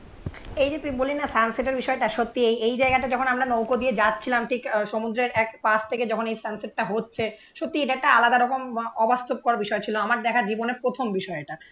এই যে তুই বললি না সানসেট এর বিষয়টা সত্যি এই এই জায়গাটা যখন আমরা নৌকো দিয়ে যাচ্ছিলাম ঠিক সমুদ্রের এক পাশ থেকে যখন এই সানসেট টা হচ্ছে এটা একটা আলাদা রকম অবাস্তবকর বিষয় ছিল আমার দেখা জীবনের প্রথম বিষয় এটা।